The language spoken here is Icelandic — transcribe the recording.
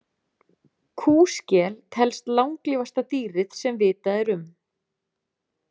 Kúskel telst langlífasta dýrið sem vitað er um.